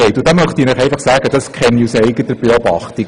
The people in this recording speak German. Und deren Verhältnisse kenne ich aus eigener Beobachtung.